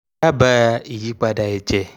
dábàá ìyípadà ẹ̀jẹ̀